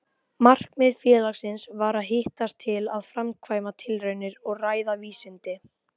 Markmið félagsins var að hittast til að framkvæma tilraunir og ræða vísindi.